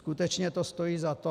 Skutečně to stojí za to?